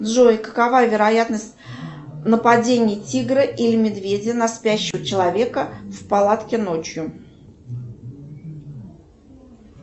джой какова вероятность нападения тигра или медведя на спящего человека в палатке ночью